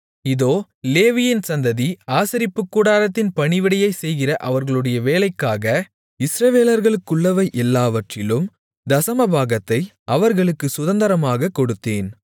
இதோ லேவியின் சந்ததி ஆசரிப்புக் கூடாரத்தின் பணிவிடையைச் செய்கிற அவர்களுடைய வேலைக்காக இஸ்ரவேலருக்குள்ளவை எல்லாவற்றிலும் தசமபாகத்தை அவர்களுக்குச் சுதந்தரமாகக் கொடுத்தேன்